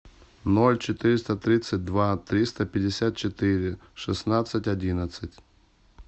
ноль четыреста тридцать два триста пятьдесят четыре шестнадцать одиннадцать